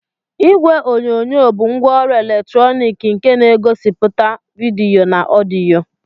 Igwe onyonyo bụ ngwaọrụ eletrọnịkị nke na-egosipụta vidiyo na ọdịyo.